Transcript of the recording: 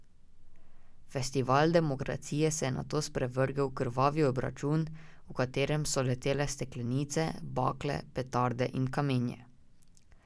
Festival demokracije se je nato sprevrgel v krvavi obračun, v katerem so leteli steklenice, bakle, petarde in kamenje.